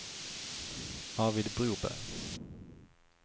Arvid Broberg